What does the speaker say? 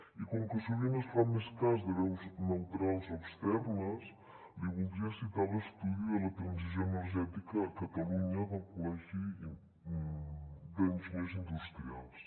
i com que sovint es fa més cas de veus neutrals o externes li voldria citar l’estudi de la transició energètica a catalunya del col·legi d’enginyers industrials